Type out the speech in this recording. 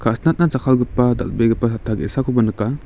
ka·sinatna jakkalgipa dal·begipa satta ge·sakoba nika.